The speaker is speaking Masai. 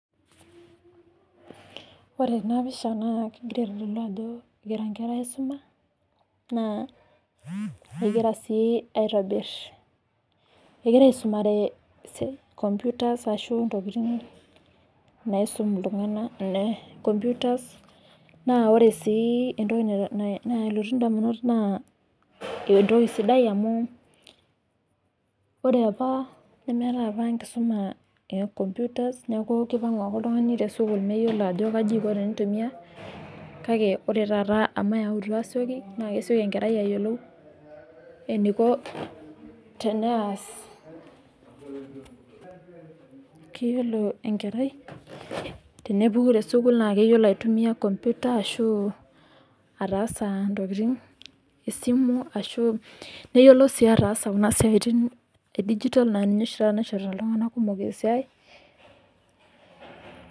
ore ena pisha na kengira aitodlu ajo engira inkera aisuma, na engira si aitobir engira aisumare computers ashu ntokitin naisum iltunganak, na computers na ore si entoki nalotu indamunot na entoki sidai amu ore apa meetae apa enkisuma ecomputers, niaku kipangu ake oltungani tesukul meyiolo ajo kaji iko tenitumia, kake ore tata amu eyautwa asioki na kesioki enkerai ayiolou eneiko tenaas, keyiolo enkerai, tenepuku tesukul na keyiolo aitumia computer ashu atsa intokitin, esimu neyiolo si atasa kuna siatin e digital na ninye oshi tata naishorita....